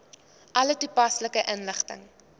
alle toepaslike inligting